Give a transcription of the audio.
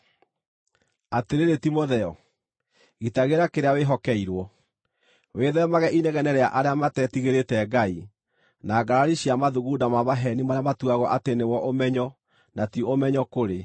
Atĩrĩrĩ, Timotheo, gitagĩra kĩrĩa wĩhokeirwo. Wĩthemage inegene rĩa arĩa matetigĩrĩte Ngai, na ngarari cia mathugunda ma maheeni marĩa matuagwo atĩ nĩmo ũmenyo na ti ũmenyo kũrĩ.